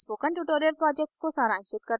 यह spoken tutorial को सारांशित करता है